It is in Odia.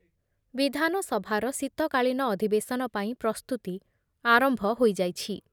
ବିଧାନସଭାର ଶୀତକାଳୀନ ଅଧିବେଶନ ପାଇଁ ପ୍ରସ୍ତୁତି ଆରମ୍ଭ ହୋଇଯାଇଛି ।